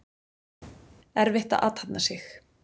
Erfitt að athafna sig.